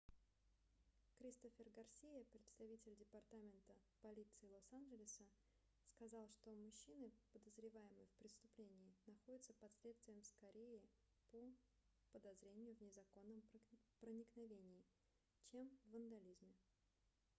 кристофер гарсиа представитель департамента полиции лос-анжелоса сказал что мужчина подозреваемый в преступлении находится под следствием скорее по подозрению в незаконном проникновении чем в вандализме